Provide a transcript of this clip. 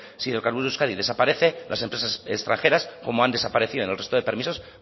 si hidrocarburos de euskadi desaparece las empresas extranjeras como han desaparecido en el resto de permisos